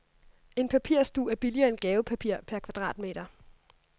En papirsdug er billigere end gavepapir per kvadratmeter.